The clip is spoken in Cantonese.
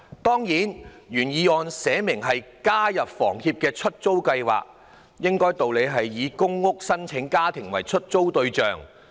當然，原議案清楚訂明建議房委會加入香港房屋協會的"出租計劃"，應理是以公屋的申請家庭為出租對象。